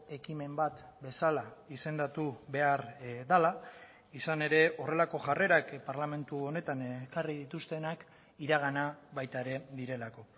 ekimen bat bezala izendatu behar dela izan ere horrelako jarrerak parlamentu honetan ekarri dituztenak iragana baita ere direlako